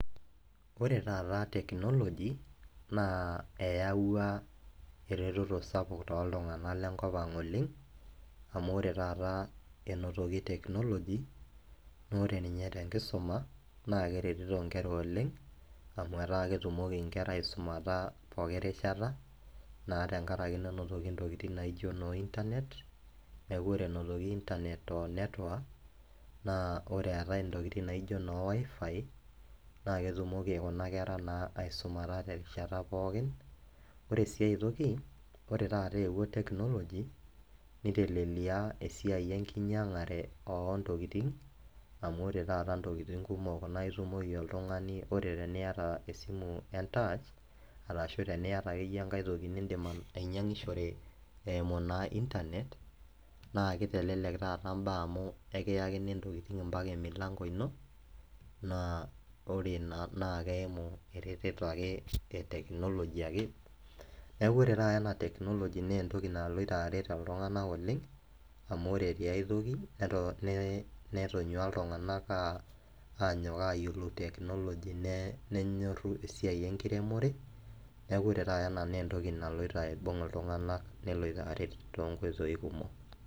Ore taata technology naa eyauwa eretoto sapuk too iltung'ana le enkop aang' oleng', amu ore taata einotoki technology. Amu ore ninye te enkisuma naa keretito inkera oleng' amu metaa etumoki inkera aisumata pooki rishata, naa tenkaraki pee einotoki intokitin naijo noo internet ,naa ore einotoki internet o network o ntokitin naijo noo WiFi naa eketumoki Kuna kera naa aisumata te erishata pookin. Ore si ai toki, ore taata eewuo technology neitelelia esiai enkinyang'are o ntokitin, amu ore taata intokitin kumok naa itumoki oltung'ani, ore teniata esimu entach ashu teniata ake iyie enkai toki niindim ainyang'ishore eimu naa internet naa keitelelek taata imbaa amu ekiyakini intokitin ompaka emulango ino, naa ore Ina naa ekeimu eretoto ake e technology ake. Neaku ore taata ena technology naa entoki ake naloito aret iltung'ana oleng', amu ore te ai toki netonyua iltung'ana anyok ayiolou technology nenyoru esiai eremore, neaku ore taata ena naa entoki naloito aibung' iltung'ana neloito aret tiatua intokitin kumok.